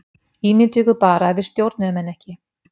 Ímyndið ykkur bara ef við stjórnuðum henni ekki!